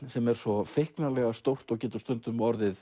sem er svo feiknarlega stórt og getur stundum orðið